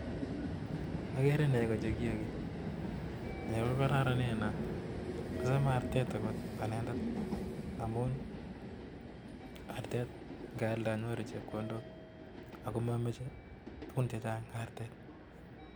Agere negoo chegiagi negoo KO kararanen neaa Amun ngealda kenyoruu chepkondok chechang neaa